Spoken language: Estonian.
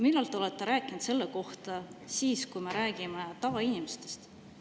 Millal te olete rääkinud sellest siis, kui me räägime tavainimestest?